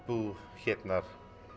búa hérna